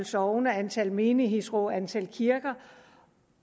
sogne antallet af menighedsråd og antallet af kirker